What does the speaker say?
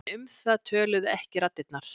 En um það töluðu ekki raddirnar.